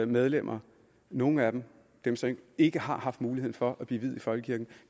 medlemmer nogle af dem dem som ikke har haft muligheden for at blive viet i folkekirken